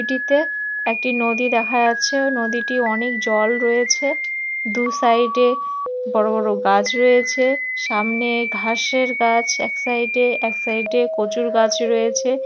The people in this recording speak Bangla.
এটিতে একটি নদী দেখা যাচ্ছে নদীটি অনেক জল রয়েছে দু সাইড এ বড়ো বড়ো গাছ রয়েছে সামনে ঘাসের গাছ এক সাইড এ এক সাইড এ কচুর গাছ রয়েছে।